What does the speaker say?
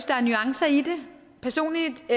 der er nuancer i det personligt